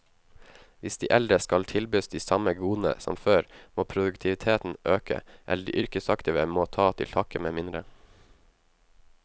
Hvis de eldre skal tilbys de samme godene som før, må produktiviteten øke, eller de yrkesaktive må ta til takke med mindre.